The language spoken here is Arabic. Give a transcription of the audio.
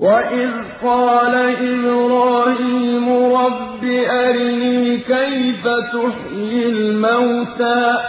وَإِذْ قَالَ إِبْرَاهِيمُ رَبِّ أَرِنِي كَيْفَ تُحْيِي الْمَوْتَىٰ ۖ